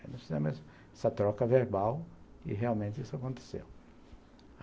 Aí nós fizemos essa troca verbal e realmente isso aconteceu.